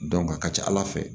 a ka ca ala fɛ